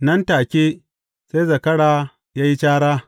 Nan da take, sai zakara ya yi cara.